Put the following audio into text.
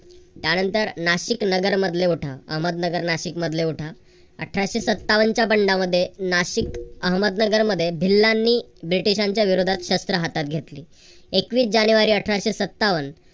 त्यानंतर नाशिक नगर मधले उठाव. अहमदनगर नाशिक मधले उठाव. अठराशे सत्तावनच्या बंडामध्ये नाशिक अहमदनगर मध्ये भिल्लांनी ब्रिटिशांच्या विरोधात शस्त्र हातात घेतली. एकवीस जानेवारी अठराशे सत्तावन